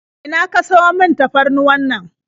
A ina ka siyo man tafarnuwannan?